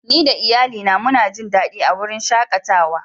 Ni da Iyalli na muna Jin dadi a'wurin shakatawan.